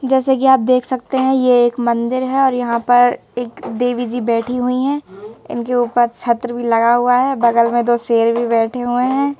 जैसे कि आप देख सकते हैं ये एक मंदिर है और यहां पर एक देवी जी बैठी हुई हैं इनके ऊपर छत्र भी लगा हुआ है बगल में दो शेर भी बैठे हुए है।